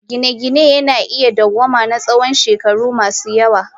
Gine-gine na iya dawwama na tsawon shekaru masu yawa.